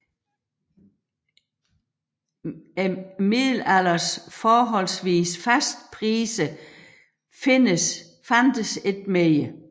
Middelalderens forholdsvis faste priser fandtes ikke mere